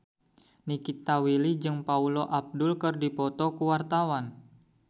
Nikita Willy jeung Paula Abdul keur dipoto ku wartawan